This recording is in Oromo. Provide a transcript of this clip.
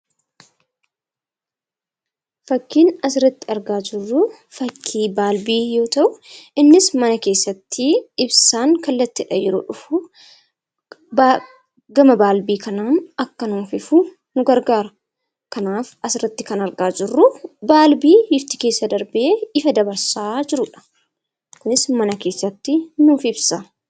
Fakkiin asirratti argaa jirru, fakkii balbii yoo ta'u, innis mana keessatti ibsaan kallattiin yeroo dhufu gama balbii kanaan akka nuuf ifu gargaara. Kanaaf asirratti kan argaa jirru, balbii ifti keessa darbu ifa dabarsaa jirudha. Kunis mana keessatti nuuf ibsa.